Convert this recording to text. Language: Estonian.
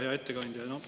Hea ettekandja!